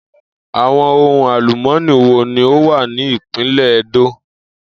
Àwo̩n ohun àlùmó̩nì wo ni ó wà ní ìpínlè̩ E̩dó?